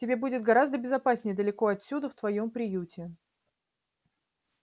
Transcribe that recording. тебе будет гораздо безопаснее далеко отсюда в твоём приюте